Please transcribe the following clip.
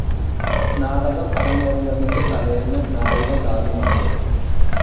നാടകം അരങ്ങേറുന്നതിന്റെ തലേന്ന്‌ നായിക കാലുമാറി.